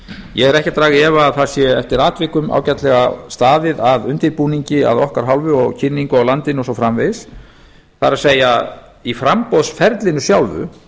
ég er ekki að draga í efa að það sé eftir atvikum ágætlega staðið að undirbúningi af okkar hálfu og kynningu á landinu og svo framvegis það er í framboðsferlinu sjálfu